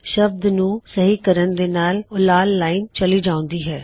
ਉਸ ਸ਼ਬਦ ਨੂੰ ਸਹੀ ਕਰਣ ਦੇ ਨਾਲ ਉਹ ਲਾਲ ਲਾਇਨ ਚੱਲੀ ਜਾਉਂਦੀ ਹੈ